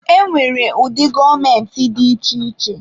E nwere ụdị gọọmentị dị iche iche.